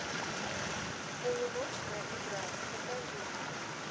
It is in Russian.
полуночная игра покажи мне